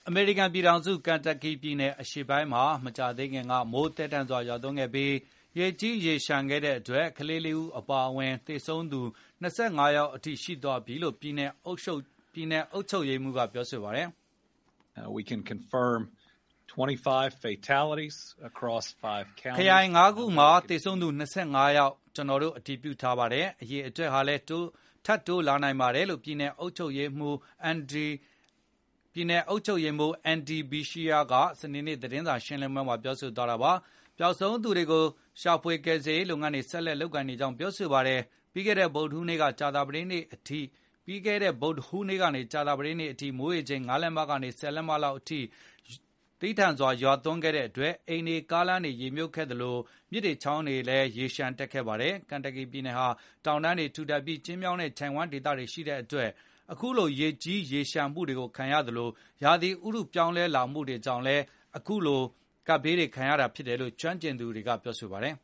အမေရိကန်ပြည်ထောင်စု ကန်တပ်ကီပြည်နယ် အရှေ့ပိုင်းမှာ မကြာသေးခင်က မိုးသည်းထန်စွာ ရွာသွန်းခဲ့ပြီး ရေကြီးရေလျံခဲ့တဲ့အတွက် ကလေး ၄ ဦးအပါအဝင် သေဆုံးသူ ၂၅ ယောက်အထိရှိသွားပြီလို့ ပြည်နယ်အုပ်ချုပ်ရေးမှူးက ပြောပါတယ်။ “ခရိုင် ၅ ခုမှာ သေဆုံးသူ ၂၅ ယောက် ကျနော်တို့ အတည်ပြုထားပါတယ်။ အရေအတွက်ဟာလည်း ထပ်တိုးလာပါလိမ့်မယ်။” လို့ ပြည်နယ်အုပ်ချုပ်ရေးမှူး Andy Beshear စနေနေ့ သတင်းစာ ရှင်းလင်းပွဲမှာ ပြောဆိုသွားတာပါ။ ပျောက်ဆုံးသူတွေကို ရှာဖွေကယ်ဆယ်ရေး လုပ်ငန်းတွေကို ဆက်လုပ်နေကြောင်းလည်း ပြောပါတယ်။ ပြီးခဲ့တဲ့ ဗုဒ္ဓဟူးနေ့ကနေ ကြာသပတေးနေ့အထိ မိုးရေချိန် ၅ လက်မကနေ ၁ဝ လက်မ လောက်အထိ ရွာသည်းထန်စွာသွန်းခဲ့တဲ့အတွက် အိမ်တွေ၊ ကားလမ်းတွေရေမြှုပ်ခဲ့ သလိုမြစ်ရေချောင်းရေတွေလည်း လျှံတက်ခဲ့ပါတယ်။ ကန်တပ်ကီပြည်နယ်ဟာ တောင်တန်းတွေထူထပ်ပြီး ကျဉ်းမြောင်းတဲ့ ချိုင့်ဝှမ်းဒေသတွေ ရှိတဲ့အတွက် ခုလိုရေကြီးရေလျှံမှုှု ဒဏ်ကိုခံရသလို၊ ရာသီဥတုပြောင်းလဲမှုကြောင့်လည်း အခုလို ဖြစ်ရတယ်လို့ ကျွမ်းကျင်သူပညာရှင်တွေကပြောဆိုပါတယ်